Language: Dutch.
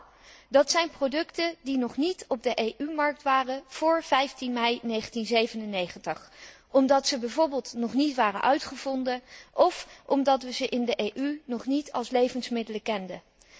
Nou, dat zijn producten die nog niet op de EU markt waren vóór 15 mei 1997 omdat ze bijvoorbeeld nog niet waren uitgevonden of omdat we ze in de EU nog niet als levensmiddelen kenden.